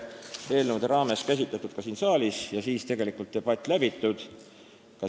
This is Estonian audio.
2014. aasta lõpus oli menetluses Sotsiaaldemokraatliku Erakonna fraktsiooni algatatud KOKS-i muutmise seaduse eelnõu 602.